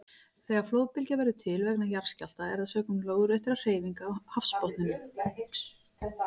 Þegar flóðbylgja verður til vegna jarðskjálfta er það sökum lóðréttra hreyfinga á hafsbotninum.